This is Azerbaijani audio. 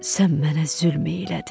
Sən mənə zülm eylədin.